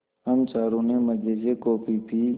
हम चारों ने मज़े से कॉफ़ी पी